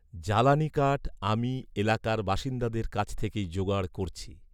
জ্বালানি কাঠ আমি এলাকার বাসিন্দাদের কাছ থেকেই জোগাড় করছি